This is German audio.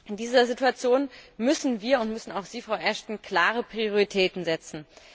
In dieser Situation müssen wir und müssen auch Sie, Frau Ashton, klare Prioritäten setzen.